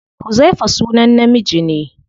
Huzaifa sunan namiji ne.